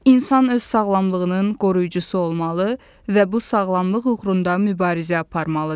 İnsan öz sağlamlığının qoruyucusu olmalı və bu sağlamlıq uğrunda mübarizə aparmalıdır.